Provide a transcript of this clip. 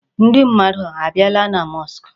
Ndị mmadụ abịala na mosque?